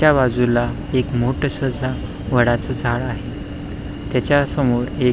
त्या बाजूला एक मोठस अस वडाच झाड आहे त्याच्या समोर एक--